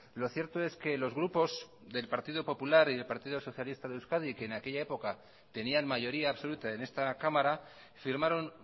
lo cierto es que los grupos del partido popular y del partido socialista de euskadi que en aquella época tenían mayoría absoluta en esta cámara firmaron